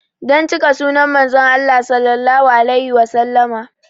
Don cika sunnan Manzon Allah Sallallahu alaihi Wasallama